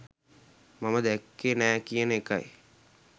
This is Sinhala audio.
මම දැක්කේ නෑ කියන එකයි.